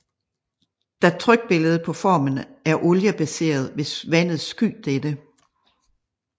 Da trykbilledet på formen er olie baseret vil vandet sky dette